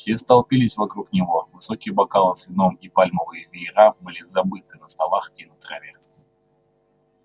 все столпились вокруг него высокие бокалы с вином и пальмовые веера были забыты на столах и на траве